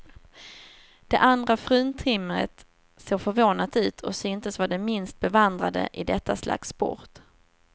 Det andra fruntimret såg förvånat ut och syntes vara det minst bevandrade i detta slags sport.